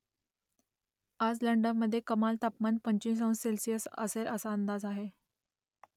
आज लंडनमध्ये कमाल तापमान पंचवीस अंश सेल्सिअस असेल असा अंदाज आहे